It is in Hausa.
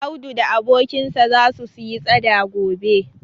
Audu da abokinsa zasu siyi tsada gobe.